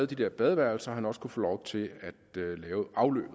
de der badeværelser at han også kunne få lov til at lave afløbet